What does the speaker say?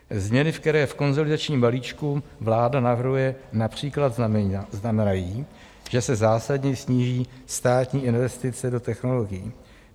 Změny, které v konsolidačním balíčku vláda navrhuje například znamenají, že se zásadně sníží státní investice do technologií.